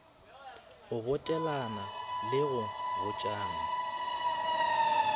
go botegelana le go botšana